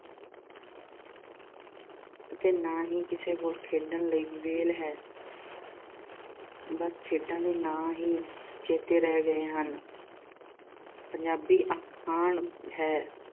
ਅਤੇ ਨਾ ਹੀ ਕਿਸੇ ਕੋਲ ਖੇਡਣ ਲਈ ਵਿਹਲ ਹੈ। ਬੱਸ ਖੇਡਾਂ ਦੇ ਨਾਂ ਹੀ ਚੇਤੇ ਰਹਿ ਗਏ ਹਨ ਪੰਜਾਬੀ ਅਖਾਣ ਹੈ